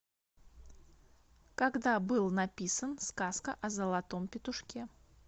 когда был написан сказка о золотом петушке